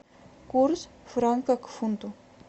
курс франка к фунту